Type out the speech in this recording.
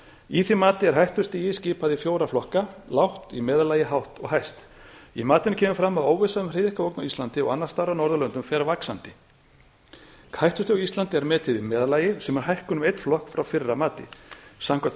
í því mati er hættustig skipað í fjóra flokka lágt í meðallagi hátt og hæst í matinu kemur fram að óvissan um hryðjuverkaógn á íslandi og annars staðar á norðurlöndum fer vaxandi hættustig á íslandi er metið í meðallagi sem er hækkun um einn flokk frá fyrra mati samkvæmt